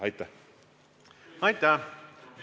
Aitäh!